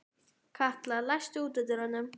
Katla, læstu útidyrunum.